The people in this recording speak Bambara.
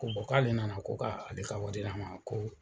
Ko k'ale nana ko ka ale ka wari d'a ma ko